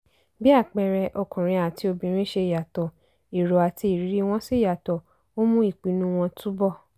bí àpẹẹrẹ ọkùnrin àti obìnrin ṣe yàtọ̀ èrò àti ìrírí wọn sì yàtọ̀ ó mú ìpinnu wọn túbọ̀.